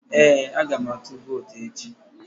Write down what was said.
Ee, aga m atụ vootu echi